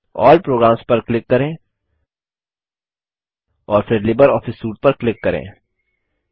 अल्ल programs पर click करें और फिर लिबरऑफिस सूट पर क्लिक करें